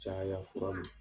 Caya fura ma .